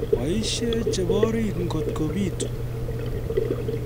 Boisie cheborit ngot kobitu